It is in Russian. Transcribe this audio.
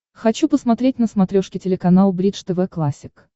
хочу посмотреть на смотрешке телеканал бридж тв классик